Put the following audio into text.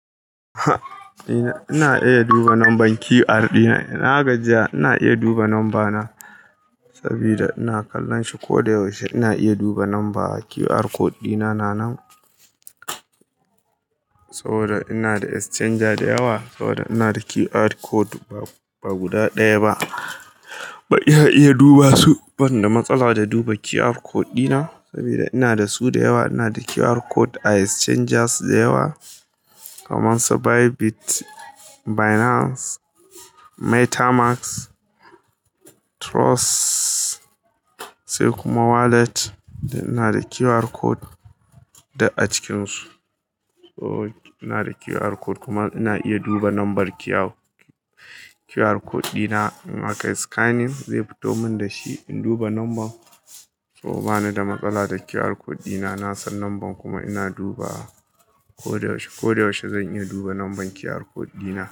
Ina iya duba number QR code dina. Na gajiya, ina iya duba number na saboda ina kallon shi. Ko da yaushe ina iya duba number QR code dina. Nanan saboda ina da exchanger da yawa, saboda ina da QR code ba guda ɗaya ba. Ba iya iya duba su, ban da matsala da duba QR code dina saboda ina da su da yawa. Ina da QR code a exchangers da yawa kamar su Bybit, Binance, Metamask, Trust sai kuma wallet. Ina da QR code da a cikinsu. So ina da QR code kuma ina iya duba number QR code ɗina. In akayi scanning, zai fito min da shi, in duba number. So bani da matsala da QR code ɗina. Na san number kuma ina duba wa ko da yaushe. Ko da yaushe zan iya duba number QR code dina.